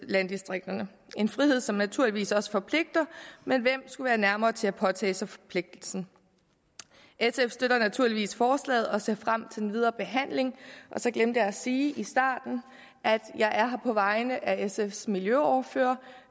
landdistrikterne en frihed som naturligvis også forpligter men hvem skulle være nærmere til at påtage sig forpligtelsen sf støtter naturligvis forslaget og ser frem til den videre behandling og så glemte jeg at sige i starten at jeg er her på vegne af sfs miljøordfører